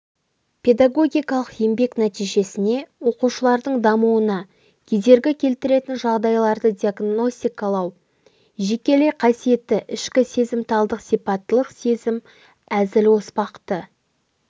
педагогикалық еңбек нәтижесіне оқушылардың дамуына кедергі келтіретін жағдайларды диагностикалау жекелей қасиеті ішкі сезімталдық сипаттылық сезім әзіл-оспақты